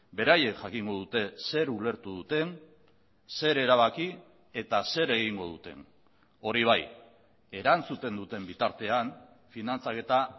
beraiek jakingo dute zer ulertu duten zer erabaki eta zer egingo duten hori bai erantzuten duten bitartean finantzaketa